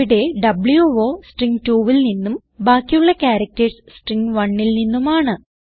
ഇവിടെ വോ സ്ട്രിംഗ് 2വിൽ നിന്നും ബാക്കിയുള്ള ക്യാരക്ടർസ് സ്ട്രിംഗ് 1ൽ നിന്നുമാണ്